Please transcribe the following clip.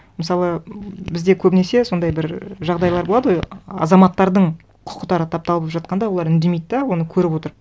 мысалы бізде көбінесе сондай бір жағдайлар болады ғой азаматтардың құқықтары тапталып жатқанда олар үндемейді де оны көріп отырып